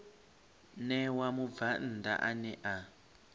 ṋewa mubvann ḓa ane a